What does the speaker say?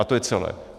A to je celé.